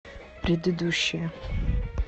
предыдущая